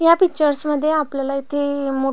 या पिक्चर्स मध्ये आपल्याला इथे मो--